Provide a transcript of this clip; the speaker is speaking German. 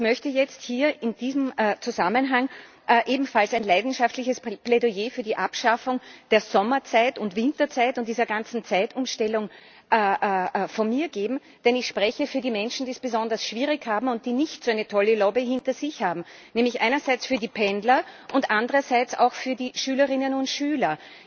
Ich möchte jetzt hier in diesem Zusammenhang ebenfalls ein leidenschaftliches Plädoyer für die Abschaffung der Sommerzeit und Winterzeit und dieser ganzen Zeitumstellung halten, denn ich spreche für die Menschen, die es besonders schwierig haben und die nicht so eine tolle Lobby hinter sich haben, nämlich einerseits für die Pendler und andererseits auch für die Schülerinnen und Schüler.